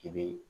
I bɛ